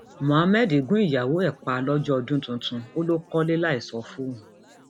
muhammed gun ìyàwó ẹ pa lọjọ ọdún tuntun ó lọ kọlé láì sọ fóun